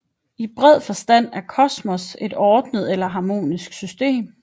I bred forstand er kosmos et ordnet eller harmonisk system